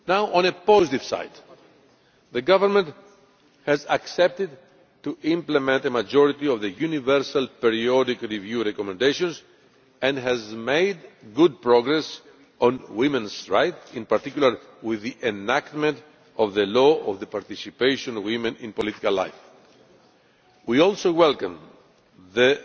On a positive note, the government has accepted to implement the majority of the Universal Periodic Review recommendations and has made good progress on women's rights, in particular with the enactment of the law on the participation of women in political life. We also welcome the